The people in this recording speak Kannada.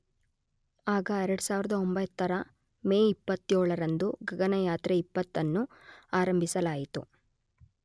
ಆಗ 2009 ರ ಮೇ 27 ರಂದು ಗಗನಯಾತ್ರೆ 20 ಅನ್ನು ಆರಂಭಿಸಲಾಯಿತು.